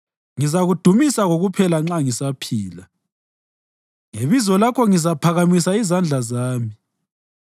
Ngizakudumisa kokuphela nxa ngisaphila, ngebizo lakho ngizaphakamisa izandla zami.